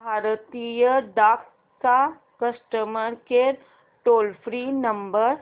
भारतीय डाक चा customer care toll free number